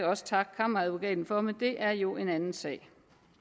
også takke kammeradvokaten for men det er jo en anden sag